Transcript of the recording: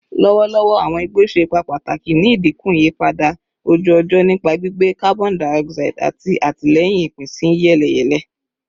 Lọwọlọwọ, awọn igbo ṣe ipa pataki ni idinku iyipada oju-ọjọ nipa gbigbe carbon dioxide ati atilẹyin ipinsiyeleyele.